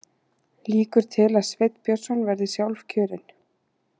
Líkur til að Sveinn Björnsson verði sjálfkjörinn